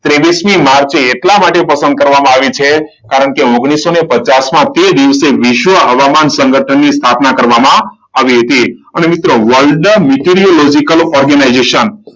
ત્રેવીસમી માર્ચે એટલા માટે પસંદ કરવામાં આવી છે. કારણ કે ઓગણીસો પચાસમાં તે દિવસે વિશ્વ હવામાન સંગઠનની સ્થાપના કરવામાં આવી હતી. અને મિત્રો world meteorological organization,